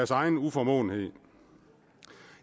egen uformåenhed i